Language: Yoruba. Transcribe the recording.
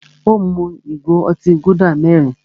Ó mú ìgò otí Gúdà mẹ́rin.